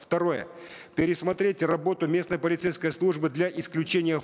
второе пересмотреть работу местной полицейской службы для исключения